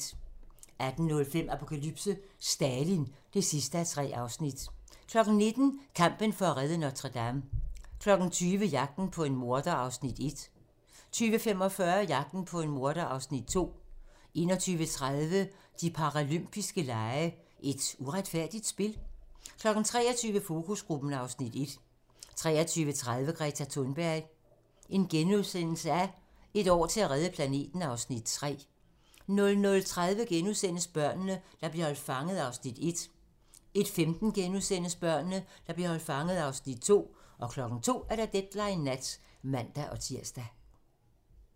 18:05: Apokalypse: Stalin (3:3) 19:00: Kampen for at redde Notre-Dame 20:00: Jagten på en morder (Afs. 1) 20:45: Jagten på en morder (Afs. 2) 21:30: De paralympiske lege: Et uretfærdigt spil? 23:00: Fokusgruppen (Afs. 1) 23:30: Greta Thunberg: Et år til at redde planeten (Afs. 3)* 00:30: Børnene, der blev holdt fanget (Afs. 1)* 01:15: Børnene, der blev holdt fanget (Afs. 2)* 02:00: Deadline nat (man-tir)